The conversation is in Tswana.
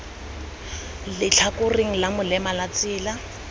letlhakoreng la molema la tsela